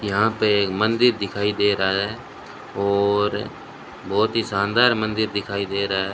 यहां पे एक मंदिर दिखाई दे रहा है और बहोत ही शानदार मंदिर दिखाई दे रहा है।